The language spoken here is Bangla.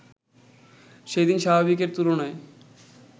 সেদিন স্বাভাবিকের তুলনায়